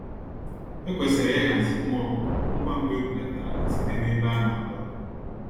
Ekwesịrị ihazi ụmụ ọkụkọ ngwá ngwá ebulatara ha site nebe ana abụ-àkwà.